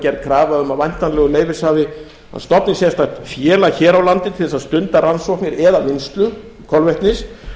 gerð krafa um að væntanlegur leyfishafi stofni sérstakt félag hér á landi til þess að stunda rannsóknir eða vinnslu kolvetnis